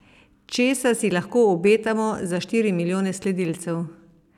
Česa si lahko obetamo za štiri milijone sledilcev?